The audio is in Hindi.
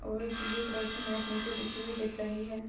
और ब्लू कलर की मैट नीचे बिछी दिख रही है।